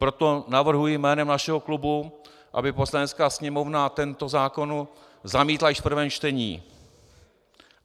Proto navrhuji jménem našeho klubu, aby Poslanecká sněmovna tento zákon zamítla již v prvém čtení.